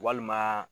Walima